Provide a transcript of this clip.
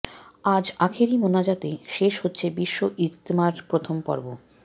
আজ আখেরি মোনাজাতে শেষ হচ্ছে বিশ্ব ইজতেমার প্রথম পর্ব